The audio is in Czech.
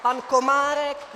Pan Komárek...